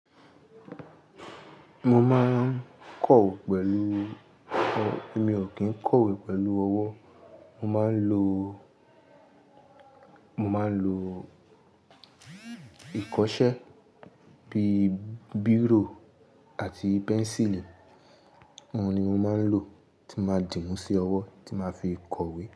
Mo máa ń kọ̀we, pẹ̀lú-- èmi ò kí ń kọ̀wé pẹ̀lú ọwọ́, mo máa ń lo, mo máa ń lo ìkọṣẹ́ bíi bírò àti pẹ́ńsìlì, wọ́n ni mo máa ń lò tí máa dì mú sí ọwọ́ tí máa fi kọ̀wé.